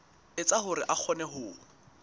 etsa hore a kgone ho